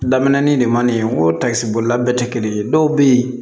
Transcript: Daminɛnin de man nɛni o takisi bolila bɛɛ tɛ kelen ye dɔw bɛ yen